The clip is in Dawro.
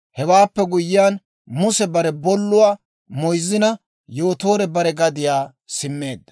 Hewaappe guyyiyaan Muse bare bolluwaa moyzzina Yootoore bare gadiyaa simmeedda.